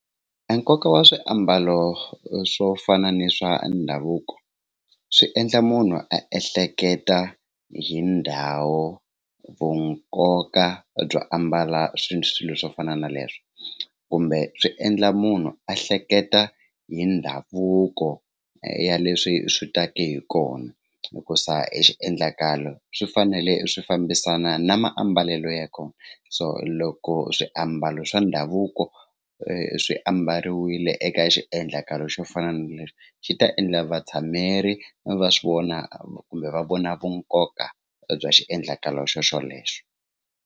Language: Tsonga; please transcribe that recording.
Enkoka wa swiambalo swo fana ni swa ndhavuko swi endla munhu a ehleketa hi ndhawu vunkoka byo ambala swilo swo fana na leswo kumbe swi endla munhu a hleketa hi ndhavuko ya leswi swi taka hi kona hikusa exiendlakalo swi fanele swi fambisana na mambalelo ya kona so loko swiambalo swa ndhavuko swi ambariwa yile eka xiendlakalo xo fana na lexi xi ta endla vatshhameri va swi vona kumbe va vona vu nkoka bya xiendlakalo xo xolexo.